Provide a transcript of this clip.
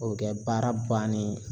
O be kɛ baara bannen ye.